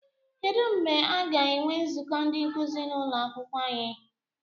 Kedụ mgbe aga enwe nzukọ ndị nkuzi n'ụlọakwụkwọ anyị?